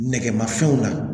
Nɛgɛmafɛnw la